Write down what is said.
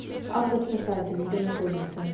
автоспасатель где находится